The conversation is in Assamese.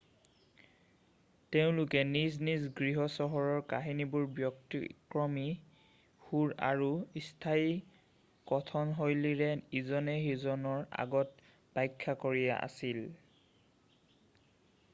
তেওঁলোকে নিজ নিজ গৃহচহৰৰ কাহিনীবোৰ ব্যতিক্ৰমী সুৰ আৰু স্থানীয় কথনশৈলীৰে ইজনে সিজনৰ আগত ব্যাখ্যা কৰি আছিল